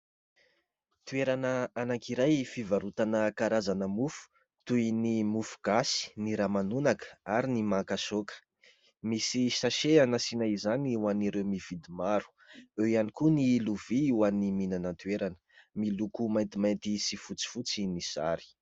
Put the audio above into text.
Toerana anankiray fivarotana karazana mofo toy ny mofogasy, ny ramanonaka ary ny makasaoka, misy "sachet" asiana izany ho an'ireo mividy maro ; eo ihany koa ny lovia ho an'ny mihinana an-toerana : miloko maintimainty sy fotsifotsy ny sary.